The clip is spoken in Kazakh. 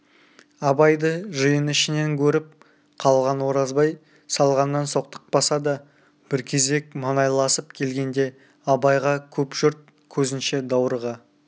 абайды жиын ішінен көріп қалған оразбай салғаннан соқтықпаса да бір кезек маңайласып келгенде абайға көп жұрт көзінше даурыға